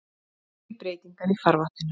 Fleiri breytingar í farvatninu